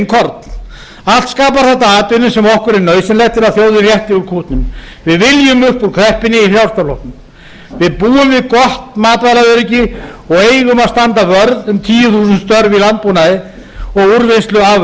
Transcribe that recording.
korn allt skapar þetta atvinnu sem okkur er nauðsynlegt til að þjóðin rétti úr kútnum við viljum upp úr kreppunni í frjálslynda flokknum við búum við gott matvælaöryggi og eigum að standa vörð um tíu þúsund störf í landbúnaði og úrvinnslu